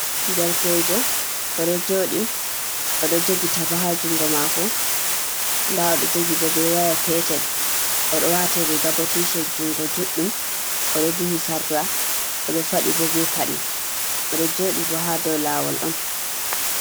Derkeejo. Oɗo jooɗi, oɗo jogi taba haa jungo maako nda oɗo jogi bo be waya petel, oɗo waati riga bo ticet jungo juɗɗum, oɗo duhi sarla, oɗo faɗi bo be paɗe, oɗo joɗi bo haa dou laawol on.